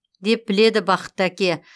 деп біледі бақытты әке